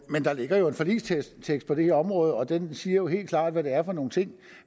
der ligger jo en forligstekst på det her område og den siger helt klart hvad det er for nogle ting